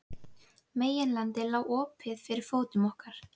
Meginlandið lá opið fyrir fótum okkar.